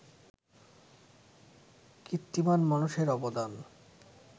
কীর্তিমান মানুষের অবদান